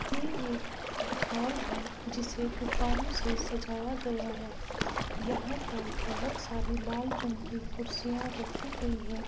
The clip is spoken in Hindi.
ये एक हॉल है जिसे गुबारों से सजाया गया है यहाँ पर बहोत सारी लाल रंग की कुर्सियां रखी गयी हैं।